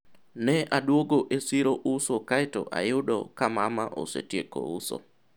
ne adwogo e siro uso kaeto ayudo ka mama osetieko uso